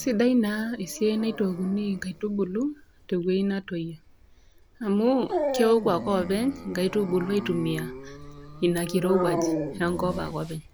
Sidai naa esiai naitookuni inkaitubulu tewueji natoyio. Amu keoku ake oopeny inkaitubulu aitumia Ina kirouwaj enkop ake openy,